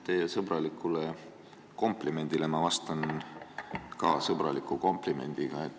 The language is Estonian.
Teie sõbralikule komplimendile vastan ma ka sõbraliku komplimendiga.